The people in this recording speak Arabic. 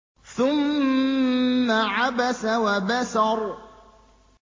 ثُمَّ عَبَسَ وَبَسَرَ